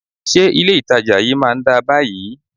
Ṣé ilé itàjà yìí má ń dá báyìí?